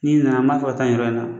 N'i nana m'a fɔ taa ni yɔrɔ in na